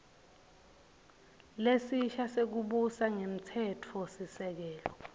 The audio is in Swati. lesisha sekubusa ngemtsetfosisekelo